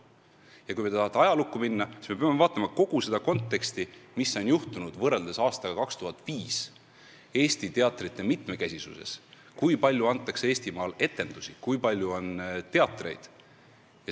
Ja kui te tahate ajalukku minna, siis me peame vaatama kogu seda konteksti, mis on võrreldes aastaga 2005 Eesti teatrite mitmekesisuses muutunud: kui palju antakse Eestimaal etendusi, kui palju on teatreid.